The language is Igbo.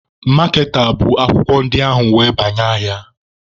Maaketa bụ akwụkwọ ndị ahụ were banye ahịa.